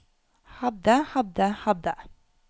hadde hadde hadde